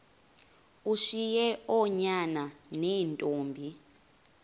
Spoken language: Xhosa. ushiye oonyana neentombi